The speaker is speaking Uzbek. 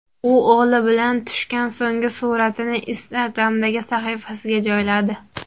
U o‘g‘li bilan tushgan so‘nggi suratini Instagram’dagi sahifasiga joyladi .